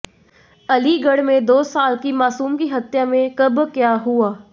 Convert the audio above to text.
अलीगढ़ में दो साल की मासूम की हत्या में कब क्या हुआ